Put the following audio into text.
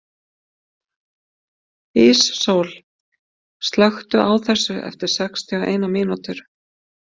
Íssól, slökktu á þessu eftir sextíu og eina mínútur.